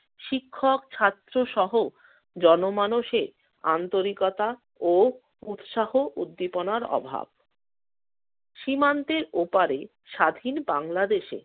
শিক্ষক ছাত্রসহ জনমানুষের আন্তরিকতা ও উৎসাহ উদ্দীপনার অভাব। সীমান্তের ওপারে স্বাধীন বাংলাদেশে